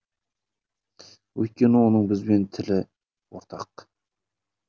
өйткені оның бізбен тілі ортақ